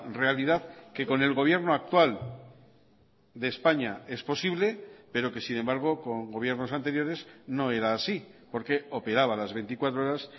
realidad que con el gobierno actual de españa es posible pero que sin embargo con gobiernos anteriores no era así porque operaba las veinticuatro horas